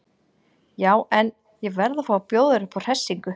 Já en. ég verð að fá að bjóða þér upp á hressingu!